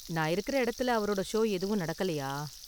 நான் இருக்குற இடத்துலஅவரோட ஷோ எதுவும் நடக்கலயா?